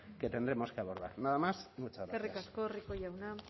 que tendremos que abordar nada más y muchas gracias eskerrik asko rico jauna